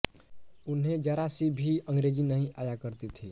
उन्हें ज़रा सी भी अंग्रेजी नहीं आया करती थी